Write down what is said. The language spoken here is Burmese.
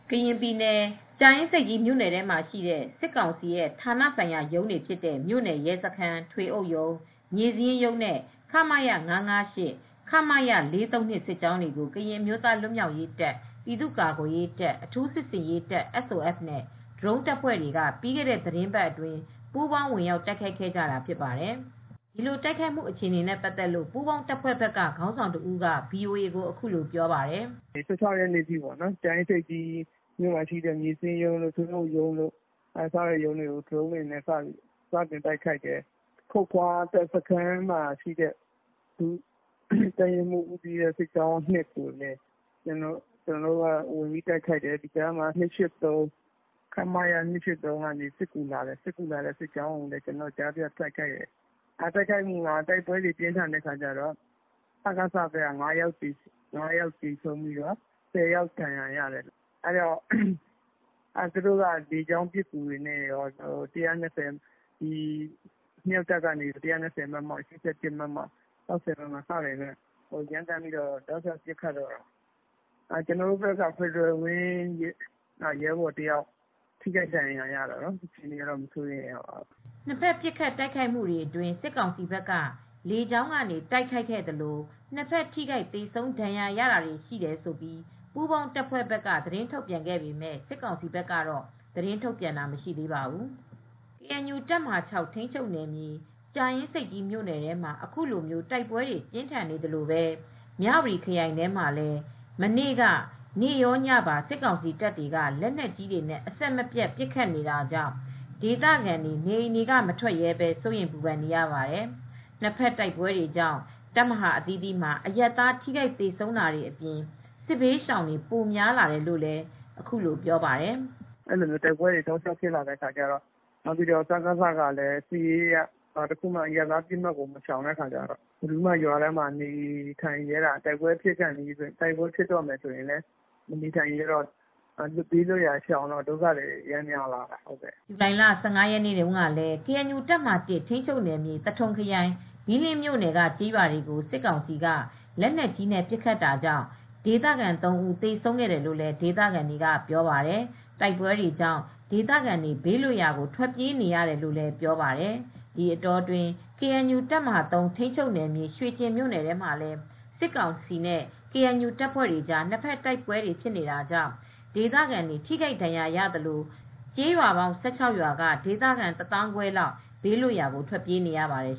ကရင်ပြည်နယ်၊ ကြာအင်းဆိပ်ကြီး မြို့နယ်ထဲမှာရှိတဲ့ စစ်ကောင်စီရဲ့ ဌာနဆိုင်ရာရုံးတွေ ဖြစ်တဲ့ မြို့နယ်ရဲစခန်း၊ ထွေအုပ်ရုံး၊ မြေစာရင်းရုံးနဲ့ ခမရ ၅၅၈ ၊ ခမရ ၄၃၂ စစ်ကြောင်းတွေကို ကရင်အမျိုးသား လွတ်မြောက်ရေးတပ်၊ ပြည်သူ့ကာကွယ်ရေးတပ်၊ အထူးစစ်ဆင်ရေးတပ် SOF နဲ့ ဒရုန်းတပ်ဖွဲ့တွေက ပြီးခဲ့တဲ့သီတင်းပတ်အတွင်း ပူးပေါင်း ဝင်ရောက် တိုက်ခိုက်ခဲ့ကြတာဖြစ်ပါတယ်။ ဒီ တိုက်ခိုက်မှု အခြေအနေတွေနဲ့ ပတ်သက်လို့ ပူးပေါင်းတပ်ဖွဲ့ဘက်က ခေါင်းဆောင်တဦးက ဗွီအိုအေကို အခုလို ပြောပါတယ်။ "၁၆ ရက်နေ့ အထိ ကြာအင်းဆိပ်ကြီး မြို့နယ်ထဲမှာ ရှိတဲ့ မြေစရင်းရုံးတို့၊ ထွေအုပ်ရုံးတို့ ကို ဒရုန်းတွေနဲ့ စပြီး တိုက်ခိုက်ပါတယ်။ ခုတ်ခွါစခန်းမှာရှိတဲ့ တပ်ရင်းမှုး ဦးစီးတဲ့ စစ်ကြောင်း ကိုလည်း ကျနော်တို့ ဝင်ရောက်တိုက်ခိုက်တယ်။ ခမရ ၂၈၃ က စစ်ကူလာတဲ့ အချိန် ကျနော်တို့က ကြားဖြတ်တိုက်ခိုက်တယ်။ တိုက်ခိုက်မူတွေ ပြင်းတော့ စကစ ဘက်က ၅ ယောက်သေတယ်။ ၁၀ ယောက်လောက် ဒဏ်ရတယ်။ သူတို့ဘက်ကလည်း လေကြောင်းပစ်ကူတွေနဲ့ရော အမြောက်တပ်က ၁၂၀ မမ၊ ၈၀ မမ၊ ၆၀ မမ တွေနဲ့ ပစ်ခတ်တယ်။ ကျနော်တို့ဘက်က Fedral Wing ဒရုန်းတပ်က တယောက်ဒဏ်ရာရတယ်။ သိပ်တော့ မစိုးရိမ်ရပါဘူး။" နှစ်ဘက် ပစ်ခတ်တိုက်ခိုက်မှုတွေ အတွင်း စစ်ကောင်စီဘက်က လေကြောင်းကနေ တိုက်ခိုက်ခဲ့သလို၊ နှစ်ဘက် ထိခိုက် သေဆုံး ဒဏ်ရာရတာတွေ ရှိတယ်လို့ ပူးပေါင်း တပ်ဖွဲ့ဘက်က သတင်းထုတ် ပြန်ပေမဲ့ စစ်ကောင်စီဘက်ကတော့ သတင်းထုတ်ပြန်တာ မရှိသေးပါဘူး။ ကေအန်ယူ တပ်မဟာ ထိမ်းချုပ်နယ်မြေ ကြာအင်းဆိပ်ကြီး မြို့နယ်ထဲမှာ ခုလို တိုက်ပွဲတွေ ပြင်းထန်နေသလိုပဲ မြဝတီခရိုင်ထဲမှာလည်း မနေ့က နေ့ရောညပါ စစ်ကောင်စီတပ်တွေက လက်နက်ကြီးတွေနဲ့ အဆက်မပြတ် ပစ်ခတ်နေတာကြောင့် ဒေသခံတွေ နေအိမ်တွေက မထွက်ရဲဘဲ စိုးရိမ်ပူပန်နေရပါတယ်။ နှစ်ဘက်တိုက်ပွဲတွေကြောင့် တပ်မဟာ အသီးသီးမှာ အရပ်သား ထိခိုက်သေဆုံးတာတွေ အပြင် စစ်ဘေးရှောင်တွေ ပိုများလာတယ်လို့ ဒေသခံတဦးက ပြောပါတယ်။ "တိုက်ပွဲတွေကလည်းဆက်တိုက်ဖြစ်လာတယ် စကစဘက်ကလည်း စစ်ရေးအရ ဘယ်တော့မှ အရပ်သားပစ်မှတ်တွေကိုမရှောင်တော့ တိုက်ပွဲဖြစ်လာပြီဆိုရင် အရပ်သားတွေကလည်းမနေရဲတော့ဘူး ဒီတော့ ဒုက္ခသည်တွေပိုများလာတယ်) ဇူလိုင်လ ရက်နေ့တုန်းကလဲ ကေအန်ယူ တပ်မဟာ ထိမ်းချုပ်နယ်မြေ သထုံခရိုင် ဘီးလင်းမြို့နယ် က ကျေးရွာတွေကို စစ်ကောင်စီက လေက်နက်ကြီးနဲ့ ပစ်ခတ်တာကြောင့် ဒေသခံ ၃ ဦး သေဆုံးခဲ့တယ်လို့ ဒေသခံတွေက ပြောပါတယ်။ တိုက်ပွဲတွေကြောင့် ဒေသခံတွေ ဘေးလွတ်ရာကို ထွက်ပြေးနေရတယ်လို့လည်း ပြောပါတယ်။ ဒီအတောအတွင်း ကေအန်ယူ တပ်မဟာ ထိန်းချုပ်နယ်မြေ၊ ရွှေကျင်မြို့နယ်ထဲမှာလည်း စစ်ကောင်စီနဲ့ ကေအန်ယူ တပ်ဖွဲ့တွေကြား နှစ်ဘက်တိုက်ပွဲတွေ ဖြစ်နေတာကြောင့် ဒေသခံတွေ ထိခိုက်ဒဏ်ရာရသလို ကျေးရွာပေါင်း ၁၆ ရွာက ဒေသခံ ၁၅, ၀၀၀ လောက် ဘေးလွတ်ရာကို ထွက်ပြေးနေရပါတယ်